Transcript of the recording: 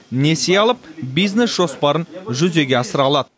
несие алып бизнес жоспарын жүзеге асыра алады